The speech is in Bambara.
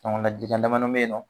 Ɲɔgɔn damanin be yen nɔ